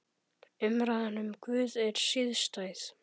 Umræðan um Guð er sístæð.